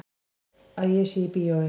Að ég sé í bíói.